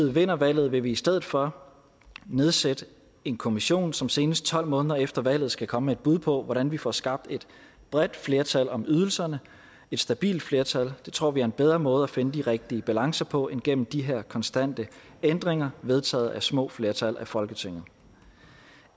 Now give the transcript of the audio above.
vinder valget vil vi i stedet for nedsætte en kommission som senest tolv måneder efter valget skal komme med et bud på hvordan vi får skabt et bredt flertal om ydelserne et stabilt flertal det tror vi er en bedre måde at finde de rigtige balancer på end gennem de her konstante ændringer vedtaget af små flertal folketinget